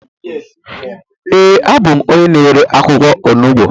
ee, abụ m onye na-ere akwụkwọ onugbu